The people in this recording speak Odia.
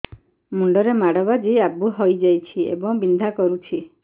ମୁଣ୍ଡ ରେ ମାଡ ବାଜି ଆବୁ ହଇଯାଇଛି ଏବଂ ବିନ୍ଧା କରୁଛି